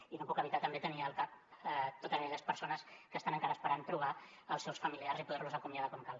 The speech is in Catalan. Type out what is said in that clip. i no puc evitar també tenir al cap totes aquelles persones que estan encara esperant trobar els seus familiars i poder los acomiadar com cal